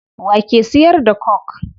Wa ke siyar da coke?